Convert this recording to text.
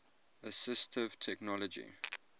assistive technology